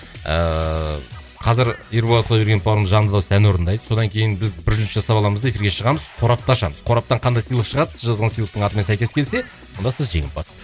ііі қазір ерболат құдайбергенов бауырымыз жанды дауыста ән орындайды содан кейін біз бір үзіліс жасап аламыз да эфирге шығамыз қорапты ашамыз қораптан қандай сыйлық шығады сіз жазған сыйлықтың атына сәйкес келсе онда сіз жеңімпаз